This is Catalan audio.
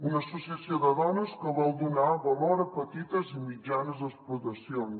una associació de dones que vol donar valor a petites i mitjanes explotacions